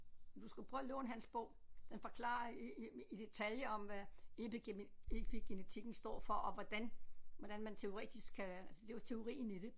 Du skulle prøve at låne hans bog den forklarer i i i detaljer om hvad epi epigenetikken står for og hvordan hvordan man teoretisk kan for det er jo også teorien i det